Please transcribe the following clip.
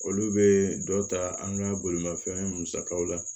Olu bɛ dɔ ta an ka bolimafɛn musakaw la